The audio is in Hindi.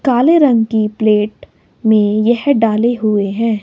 काले रंग की प्लेट में यह डाले हुए हैं।